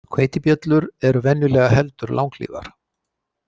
Hveitibjöllur eru venjulega heldur langlífar.